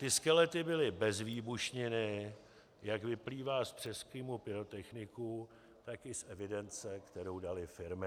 Ty skelety byly bez výbušniny, jak vyplývá z přezkumu pyrotechniků, tak i z evidence, kterou daly firmy.